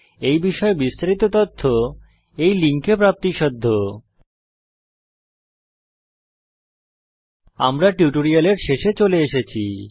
এই বিষয়ে বিস্তারিত তথ্য এই লিঙ্কে প্রাপ্তিসাধ্য httpspoken tutorialorgNMEICT Intro আমরা টিউটোরিয়ালের শেষে চলে এসেছি